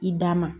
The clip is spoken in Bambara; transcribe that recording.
I da ma